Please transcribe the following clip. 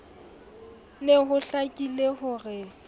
ne ho hlakile ho re